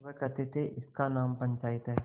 वे कहते थेइसका नाम पंचायत है